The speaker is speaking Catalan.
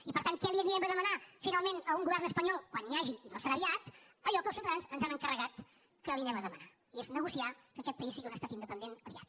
i per tant què li anirem a demanar finalment a un govern espanyol quan n’hi hagi i no serà aviat allò que els ciutadans ens han encarregat que li anem a demanar i és negociar que aquest país sigui un estat independent aviat